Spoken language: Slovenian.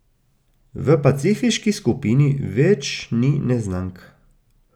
V pacifiški skupini več ni neznank.